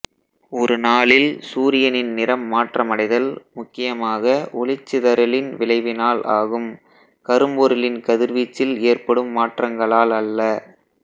ஒரு நாளில் சூரியனின் நிறம் மாற்றமடைதல் முக்கியமாக ஒளிச்சிதறலின் விளைவினால் ஆகும் கரும்பொருளின் கதிர்வீச்சில் ஏற்படும் மாற்றங்களால் அல்ல